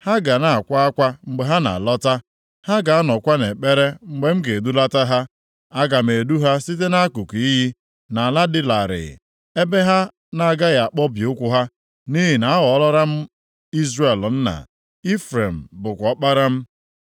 Ha ga na-akwa akwa mgbe ha na-alọta, ha ga-anọkwa nʼekpere mgbe m ga-edulata ha. Aga m edu ha site nʼakụkụ iyi, nʼala dị larịị, ebe ha na-agaghị akpọbi ụkwụ ha, nʼihi na aghọọlara m Izrel nna, Ifrem bụkwa ọkpara m.